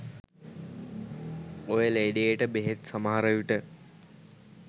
ඔය ලෙඩේට බෙහෙත් සමහර විට